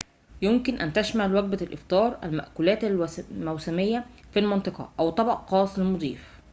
يمكن أن تشمل وجبة الإفطار المأكولات الموسمية في المنطقة أو طبق خاص للمضيف